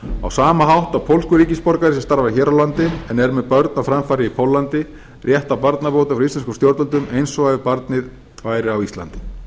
á sama hátt og pólskur ríkisborgari sem starfar hér á landi en er með börn á framfæri í póllandi rétt á barnabótum frá íslenskum stjórnvöldum eins og ef barnið væri á íslandi